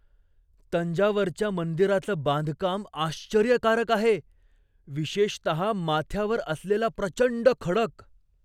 तंजावरच्या मंदिराचं बांधकाम आश्चर्यकारक आहे, विशेषतः माथ्यावर असलेला प्रचंड खडक.